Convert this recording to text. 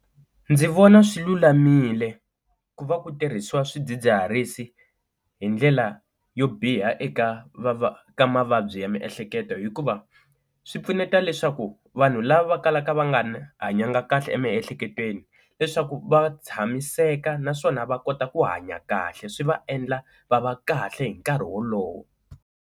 Ndzi vona swilulamile ku va ku tirhisiwa swidzidziharisi hi ndlela yo biha eka ka mavabyi ya miehleketo, hikuva swi pfuneta leswaku vanhu lava va kalaka va nga na hanyaka kahle emiehleketweni leswaku va tshamiseka naswona va kota ku hanya kahle swi va endla va va kahle hi nkarhi wolowo.